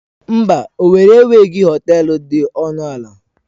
Mba, owerri enweghị họtel dị ọnụ ala.